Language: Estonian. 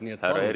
Nii et palun!